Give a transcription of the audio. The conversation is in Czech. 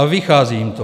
A vychází jim to.